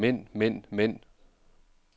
mænd mænd mænd